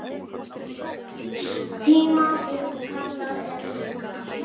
tíma sem kallað er sigla.